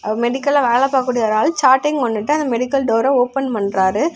மெடிக்கல்ல வேலை பாக்கூடிய ஒரு ஆள் சாட்டையு கொண்டுட்டு அந்த மெடிக்கல் டோர ஓபன் பண்றாரு.